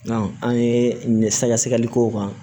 an ye sɛgɛsɛgɛli k'o kan